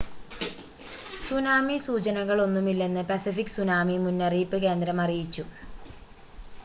tsunami സൂചനകളൊന്നുമില്ലെന്ന് Pacific tsunami മുന്നറിയിപ്പ് കേന്ദ്രം അറിയിച്ചു